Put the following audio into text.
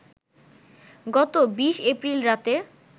গত ২০ এপ্রিল রাতে